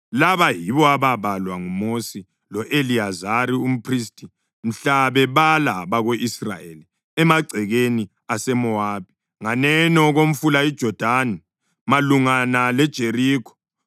Laba yibo ababalwa nguMosi lo-Eliyazari umphristi mhla bebala abako-Israyeli emagcekeni aseMowabi nganeno komfula iJodani malungana leJerikho.